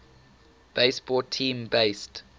baseball team based